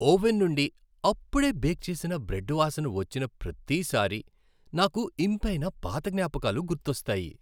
Oven నుండి అప్పుడే bake చేసిన బ్రెడ్ వాసన వచ్చిన ప్రతిసారీ నాకు ఇంపైన పాత జ్ఞాపకాలు గుర్తొస్తాయి.